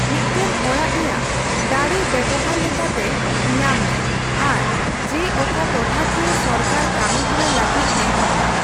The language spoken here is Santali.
ᱢᱤᱫᱴᱟᱝ ᱚᱲᱟᱜ ᱨᱮᱭᱟᱜ ᱫᱟᱲᱮ ᱵᱮᱵᱦᱟᱨ ᱞᱮᱠᱟᱛᱮ ᱧᱟᱢ ᱢᱮ ᱟᱨ ᱡᱮ ᱚᱠᱟ ᱴᱚᱴᱷᱟᱠᱤᱭᱟᱹ ᱥᱚᱨᱠᱟᱨ ᱠᱟᱹᱢᱤᱦᱚᱨᱟ ᱞᱟᱹᱜᱤᱫ ᱱᱮᱦᱚᱨ ᱢᱮ᱾